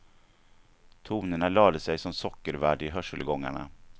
Tonerna lade sig som sockervadd i hörselgångarna.